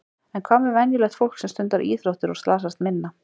En hvað með venjulegt fólk sem stundar íþróttir og slasast minna?